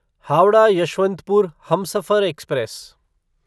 Howrah Yesvantpur Humsafar express